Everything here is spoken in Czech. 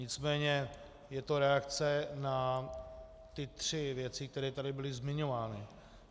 Nicméně je to reakce na ty tři věci, které tady byly zmiňovány.